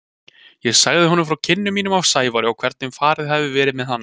Ég sagði honum frá kynnum mínum af Sævari og hvernig farið hefði verið með hann.